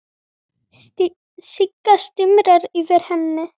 Sigga stumrar yfir henni.